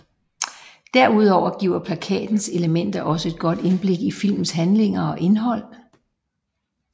Derudover giver plakatens elementer også et godt indblik i filmens handlinger og indhold